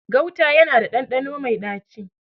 Gauta yana da ɗanɗano mai ɗaci.